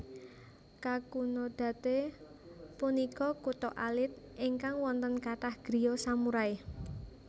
Kakunodate punika kutha alit ingkang wonten kathah griya samurai